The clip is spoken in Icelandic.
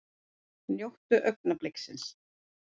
Njótum augnabliksins!